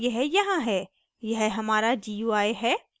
और यह यहाँ है यह हमारा gui है